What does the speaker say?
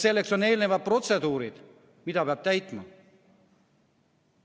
Selleks on eelnevad protseduurid, mida peab täitma.